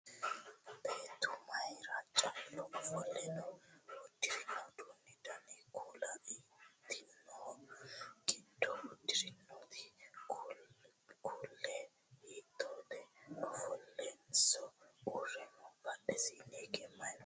Beettu mayiira callu offolle no? Uddirino uddano Dani kuuli hiittoho? Giddo uddirinote kuulino hiittoho? Ofollenso uurre noo? Badhesiinni hige mayi no?